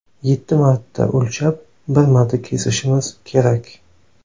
Yetti marta o‘lchab bir marta kesishimiz kerak.